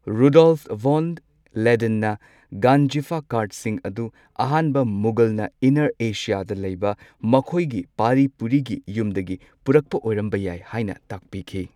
Rudolf von ꯂꯦꯗꯦꯟꯅ ꯒꯟꯖꯤꯐꯥ ꯀꯥꯔꯗꯁꯤꯡ ꯑꯗꯨ ꯑꯍꯥꯟꯕ ꯃꯨꯘꯜꯅ ꯏꯅꯔ ꯑꯦꯁꯤꯌꯥꯗ ꯂꯩꯕ ꯃꯈꯣꯏꯒꯤ ꯄꯥꯔꯤ ꯄꯨꯔꯤꯒꯤ ꯌꯨꯝꯗꯒꯤ ꯄꯨꯔꯛꯄ ꯑꯣꯏꯔꯝꯕ ꯌꯥꯏ ꯍꯥꯏꯅ ꯇꯥꯛꯄꯤꯈꯤ꯫